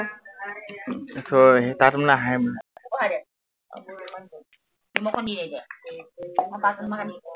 ত সেই তাত মানে আহে মানে।